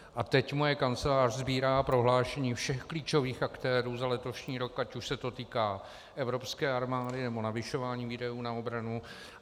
A teď moje kancelář sbírá prohlášení všech klíčových aktérů za letošní rok, ať už se to týká evropské armády, nebo navyšování výdajů na obranu.